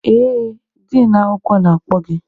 Ee, din akwụkwọ na-akpọ gị.